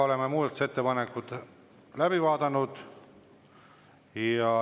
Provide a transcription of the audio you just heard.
Oleme muudatusettepanekud läbi vaadanud.